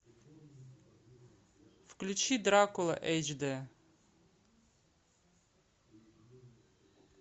включи дракула эйч д